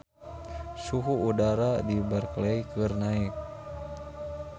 Suhu udara di Berkeley keur naek